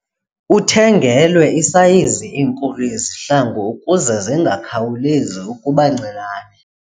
Uthengelwe isayizi enkulu yezihlangu ukuze zingakhawulezi ukuba ncinane.